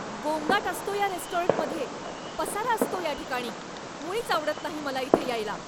गोंगाट असतो या रेस्टॉरंटमध्ये, पसारा असतो या ठिकाणी, मुळीच आवडत नाही मला इथे यायला.